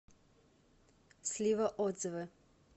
слива отзывы